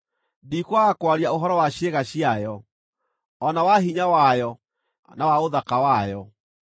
“Ndikwaga kwaria ũhoro wa ciĩga ciayo, o na wa hinya wayo, na wa ũthaka wayo.